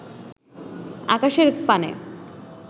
আকাশের পানে